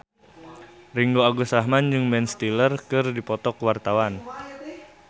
Ringgo Agus Rahman jeung Ben Stiller keur dipoto ku wartawan